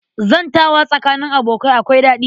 Zantawa tsakanin abokai akwai daɗi